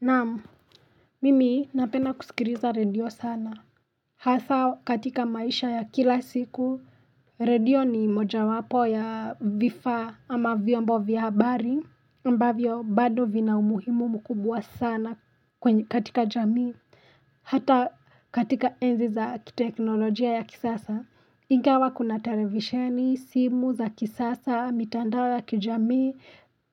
Naam, mimi napenda kusikiriza radio sana. Hasa katika maisha ya kila siku, radio ni moja wapo ya vifaa ama vyombo vyabari. Mbavyo, bado vina umuhimu mkubwa sana katika jamii. Hata katika enzi za teknolojia ya kisasa. Inga wakuna televisheni, simu za kisasa, mitandao ya kijamii,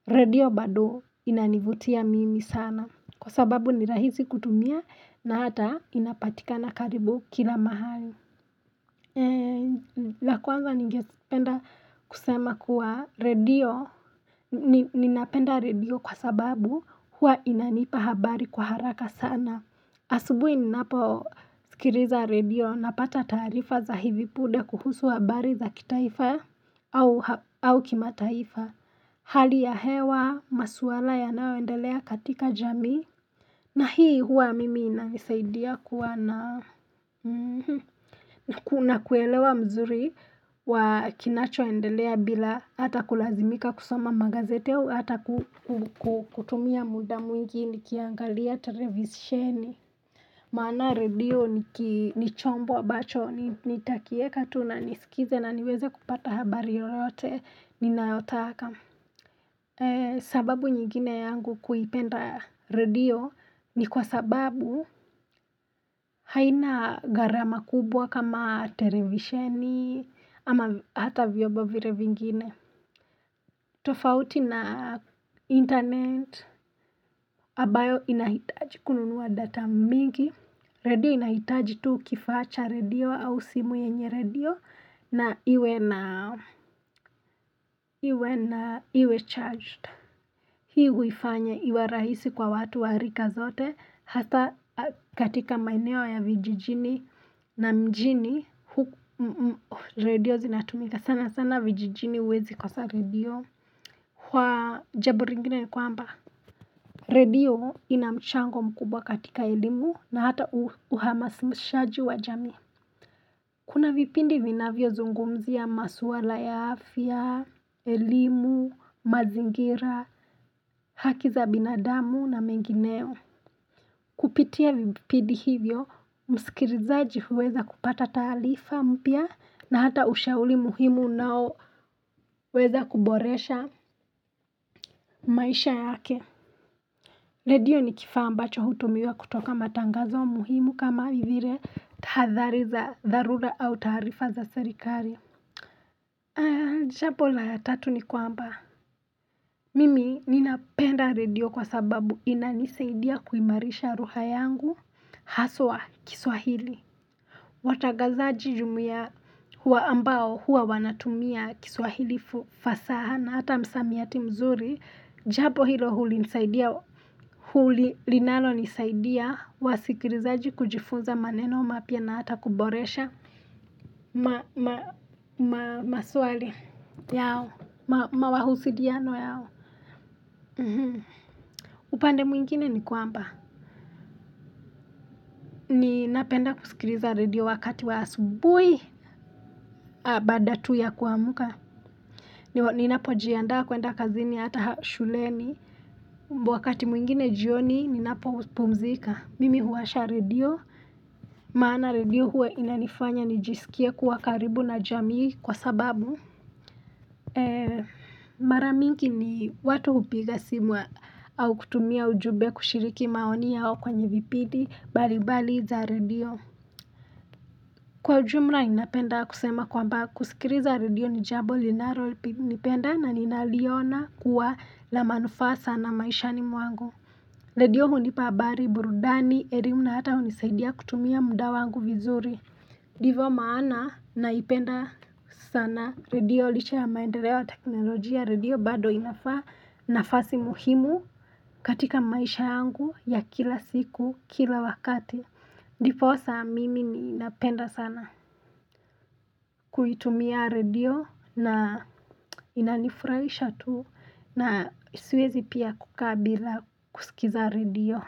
radio badu inanivutia mimi sana. Kwa sababu nirahisi kutumia na hata inapatika na karibu kila mahali. La kwanza nigependa kusema kuwa radio. Ninapenda radio kwa sababu huwa inanipa habari kwa haraka sana. Asubuhi ninapo sikiriza radio na pata tarifa za hivi pude kuhusu habari za kitaifa au kima taifa. Hali ya hewa, maswala ya naoendelea katika jami. Na hii huwa mimi inamisaidia kuwa na kuna kuelewa mzuri wa kinacho endelea bila hata kulazimika kusoma magazeti hua hata kutumia muda mwingi ni kiangalia televizisheni. Maana radio ni chombo abacho ni takie katu na nisikize na niweze kupata habari yote ni nayotaka. Sababu nyingine yangu kuipenda radio ni kwa sababu haina gharama kubwa kama televisheni ama hata vyobo vire vingine. Tofauti na internet ambayo inahitaji kununuwa data mingi. Radio inahitaji tu kifacha radio au simu yenye radio na iwe na iwe charged. Hii huifanya iwa rahisi kwa watu wa harika zote hata katika maineo ya vijijini na mjini radio zinatumika sana sana vijijini uwezi kosa radio Kwa jabu ringine ni kwamba radio inamchango mkubwa katika ilimu na hata uhamasimshaji wa jami Kuna vipindi vinavyo zungumzi ya maswala ya afya, elimu, mazingira haki za binadamu na mengineo Kupitia vipidi hivyo Musikirizaji weza kupata talifa mpia na hata ushauri muhimu nao weza kuboresha maisha yake Redio ni kifamba cho hutumiwa kutoka matangazo muhimu kama hivire tahadhariza zarura au tarifa za serikari Jampo la ya tatu ni kwamba Mimi ninapenda redio kwa sababu inaniseidia kuimarisha ruha yangu Haswa kiswahili Watagazaji jumia huwa ambao huwa wanatumia kiswahili fasa na hata msamiati mzuri Jabo hilo hulinisaidia Huli linalo nisaidia wasikrizaji kujifunza maneno mapya na hata kuboresha Mawahusidiano yao upande mwingine ni kwamba ni napenda kusikriza radio wakati wa asubui Abada tu ya kuamuka Ninapo jianda kuenda kazini hata shuleni wakati mwingine jioni ninapo uspumzika Mimi huwasha redio maana redio huwe inanifanya nijisikia kuwa karibu na jamii kwa sababu Mara mingi ni watu upiga simu au kutumia ujube kushiriki maoni yao kwenye vipidi Balibali za redio Kwa jumla inapenda kusema kwamba kusikiriza redio Nijabo linaro nipenda na ninaliona kuwa la manufasa na maishani mwangu Redio hunipabari burudani erimu na hata hunisaidia kutumia muda wangu vizuri Divyo maana naipenda sana Redio liche ya maendelewa teknolojia redio bado inafasi muhimu katika maisha yangu ya kila siku kila wakati Niposa mimi inapenda sana kuitumia radio na inanifurahisha tu na siwezi pia kukabila kusikiza radio.